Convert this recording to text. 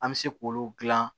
An bɛ se k'olu gilan